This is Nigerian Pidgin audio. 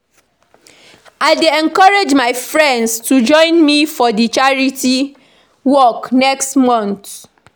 I dey encourage my friends to join me for di charity walk next month.